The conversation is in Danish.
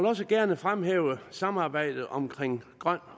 også gerne fremhæve samarbejdet om grøn